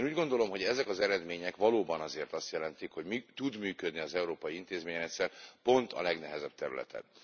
Én úgy gondolom, hogy ezek az eredmények valóban azért azt jelentik, hogy tud működni az európai intézményrendszer pont a legnehezebb területen.